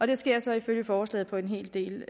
det sker så ifølge forslaget på en hel del